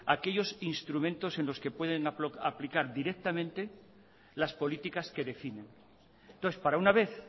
aquellos instrumentos en los que pueden aplicar directamente las políticas que definen entonces para una vez